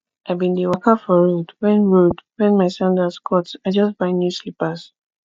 i bin dey waka for road wen road wen my sandals cut i just buy new slippers